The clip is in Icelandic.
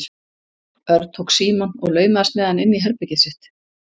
Örn tók símann og laumaðist með hann inn í herbergið sitt.